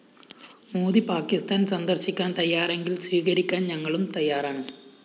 മോദി പാക്കിസ്ഥാന്‍ സന്ദര്‍ശിക്കാന്‍ തയ്യാറെങ്കില്‍ സ്വീകരിക്കാന്‍ ഞങ്ങളും തയ്യാറാണ്‌